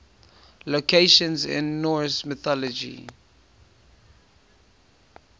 locations in norse mythology